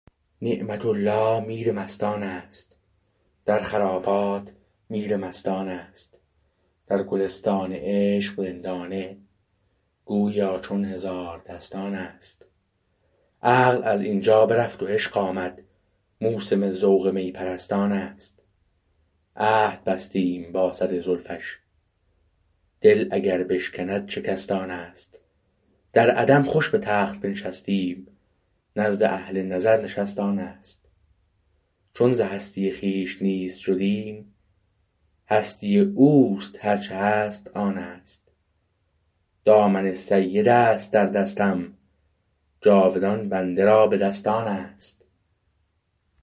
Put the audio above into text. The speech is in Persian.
نعمت الله میر مستان است در خرابات میر مستان است در گلستان عشق رندانه گوییا چون هزاردستان است عقل از اینجا برفت و عشق آمد موسم ذوق می پرستان است عهد بستیم با سر زلفش دل اگر بشکند شکست آنست در عدم خوش به تخت بنشستیم نزد اهل نظر نشست آنست چون ز هستی خویش نیست شدیم هستی اوست هرچه هست آنست دامن سید است در دستم جاودان بنده را به دست آنست